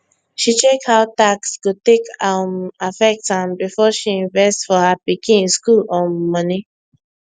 she check how tax go take um affect am before she invest for her pikin school um money